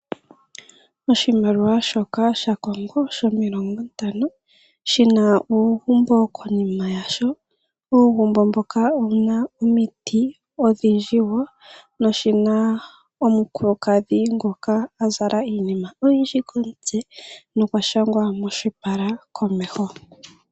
Oshimaliwa shaCongo shina uugumbo konima yasho. Uugumbo mboka owuna omiti odhindji. Oshina woo omukulukadhi ngoka azala iinima oyindji komutse na okwa shangwa moshipala komeho.